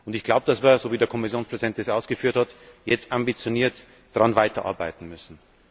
Ich glaube, dass wir so wie der Kommissionspräsident es ausgeführt hat jetzt ambitioniert daran weiterarbeiten müssen.